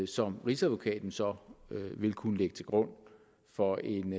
som rigsadvokaten så vil kunne lægge til grund for en